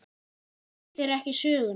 Þekki þeir ekki söguna.